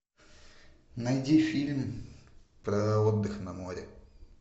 найди фильм про отдых на море